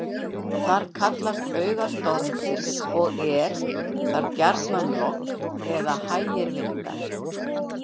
Þar kallast auga stormsins og er þar gjarnan logn eða hægir vindar.